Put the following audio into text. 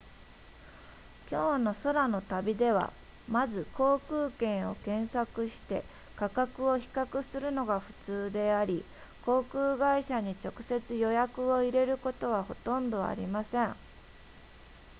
今日の空の旅ではまず航空券を検索して価格を比較するのがふつうであり航空会社に直接予約を入れることはほとんどありません